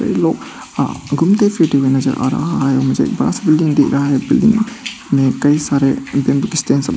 लोग घूमते फिरते हुए नजर आ रहा है मुझे एक बड़ा सा बिल्डिंग दिख रहा है बिल्डिंग में कई सारे --